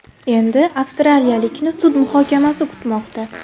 Endi avstraliyalikni sud muhokamasi kutmoqda.